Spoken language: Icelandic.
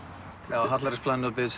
já Hallærisplanið og beðið